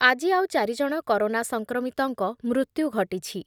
ଆଜି ଆଉ ଚାରି ଜଣ କରୋନା ସଂକ୍ରମିତଙ୍କ ମୃତ୍ୟୁ ଘଟିଛି।